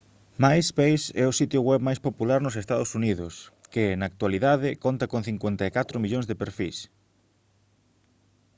myspace é o sitio web máis popular nos ee uu que na actualidade conta con 54 millóns de perfís